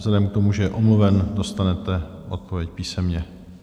Vzhledem k tomu, že je omluven, dostanete odpověď písemně.